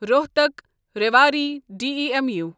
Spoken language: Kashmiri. Rohtak Rewari D E M U